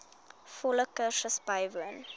volle kursus bywoon